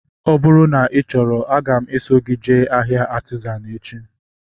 Ọ bụrụ na ị chọrọ, aga m eso gị jee ahịa Artizan echi